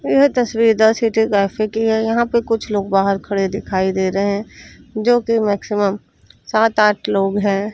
यह तस्वीर the city cafe की है यहां पे कुछ लोग बाहर खड़े दिखाई दे रहे जो की मैक्सिमम सात आठ लोग हैं।